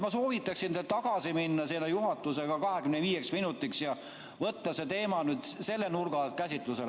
Ma soovitaksin teil tagasi minna seda juhatusega 25 minutiks ja võtta see teema nüüd selle nurga alt käsitlusele.